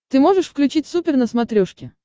ты можешь включить супер на смотрешке